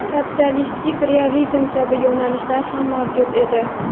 "sotsialistik realizm" kabi yo‘nalishlar ham mavjud edi.